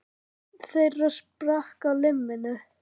Einn þeirra sprakk á limminu